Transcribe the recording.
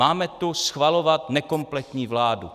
Máme tu schvalovat nekompletní vládu.